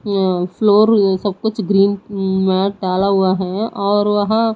ये फ्लोर यह सब कुछ ग्रीन में डाला हुआ है और वहां--